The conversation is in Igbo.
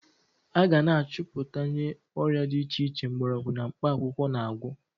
A ga na-achọputwanye ọrịa dị iche iche mgbọrọgwu na mkpakwụkwọ na-agwọ.